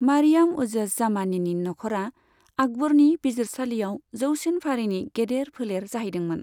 मारियाम उजज जामानीनि नखरा आकबरनि बिजिरसालियाव जौसिन फारिनि गेदेर फोलेर जाहैदोंमोन।